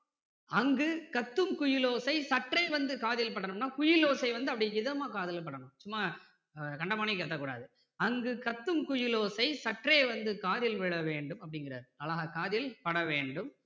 அங்கு கத்துங்குயிலோசை சற்றே வந்து காதில் படணும்னா குயில் ஓசை வந்து அப்படியே இதமா காதில் படணும் சும்மா கண்டமேனிக்கு கத்த கூடாது. அங்கு கத்தும் குயில் ஓசை சற்றே வந்து காதில் விழ வேண்டும் அப்படிங்கிறாரு அழகா காதில் பட வேண்டும்.